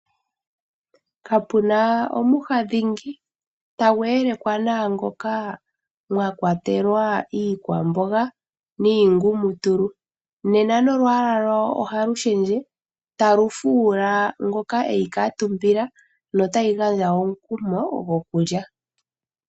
Kapuna omwiha dhingi tagu yelekwa naangoka mwakwatelwa iikwamboga niingumutulu ,nena nolwaala lwayo ohalu shendje talu fuula ngoka eyi kuutumbila notayi gandja woo omukumo gokulya.